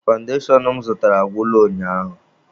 Fandashon m zụtara agwụla ụnyaahụ